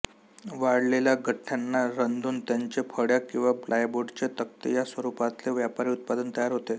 वाळलेल्या गठ्ठ्यांना रंधून त्यांचे फळ्या किंवा प्लायबोर्डचे तक्ते या स्वरूपातले व्यापारी उत्पादन तयार होते